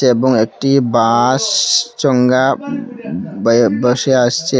এবং একটি বাস চংজ্ঞা বয়ে ভেসে আসচে।